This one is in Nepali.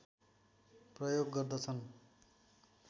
प्रयोग गर्दछन्